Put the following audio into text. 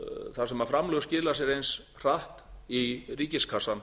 þar sem framlög skila sér eins hratt í ríkiskassann